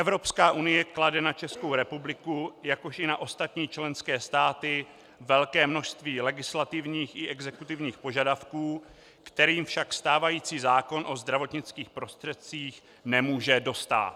Evropská unie klade na Českou republiku, jakož i na ostatní členské státy velké množství legislativních i exekutivních požadavků, kterým však stávající zákon o zdravotnických prostředcích nemůže dostát.